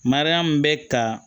Mariyamu bɛ ka